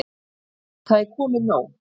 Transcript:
Það er komið nóg.